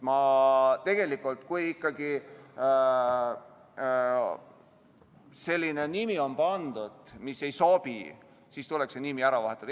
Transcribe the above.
Kui ikkagi on pandud selline nimi, mis ei sobi, siis tuleks see nimi ära vahetada.